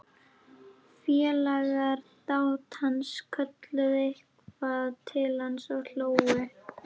Félagar dátans kölluðu eitthvað til hans og hlógu.